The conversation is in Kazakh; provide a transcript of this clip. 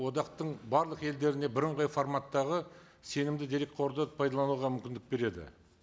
одақтың барлық елдеріне бірыңғай форматтағы сенімді дерекқорды пайдалануға мүмкіндік береді